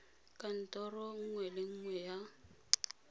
kantorong nngwe le nngwe ya